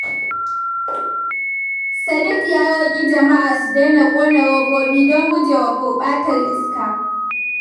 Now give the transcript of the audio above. Sadiq ya roƙi jama’a su daina ƙona robobi don gujewa gurɓatar iska.